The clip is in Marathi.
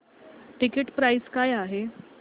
टिकीट प्राइस काय आहे